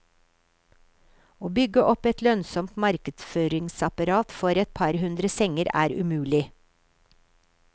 Å bygge opp et lønnsomt markedsføringsapparat for et par hundre senger er umulig.